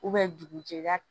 dugu jɛra